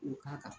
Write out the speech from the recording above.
K'o k'a kan